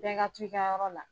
Bɛɛ ka tu i ka yɔrɔ la.